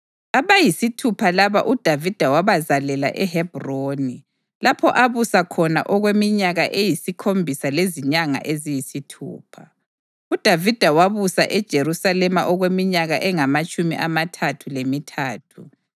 Abayisithupha laba uDavida wabazalela eHebhroni, lapho abusa khona okweminyaka eyisikhombisa lezinyanga eziyisithupha. UDavida wabusa eJerusalema okweminyaka engamatshumi amathathu lemithathu,